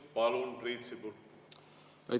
Palun, Priit Sibul!